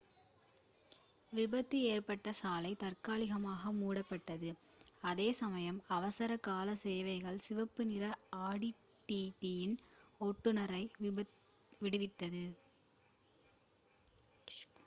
விபத்து ஏற்பட்ட சாலை தற்காலிகமாக மூடப்பட்டது அதே சமயம் அவசர கால சேவைகள் சிவப்பு நிற ஆடி டிடியின் ஓட்டுனரை விடுவித்தது